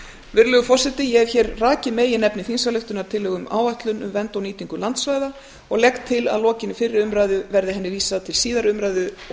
virðulegur forseti ég hef hér rakið meginefni þingsályktunartillögu um áætlun um vernd og nýtingu landsvæða og legg til að lokinni fyrri umræðu verði henni vísað til síðari umræðu og